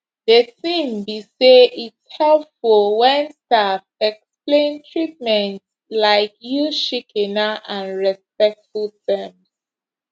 de tin be say its helpful wen staff explain treatments laik use shikena and respectful terms